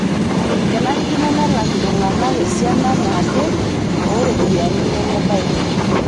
Kenarikino nelak ltung'ana esiana naaje oo ropiyiani nemebaiki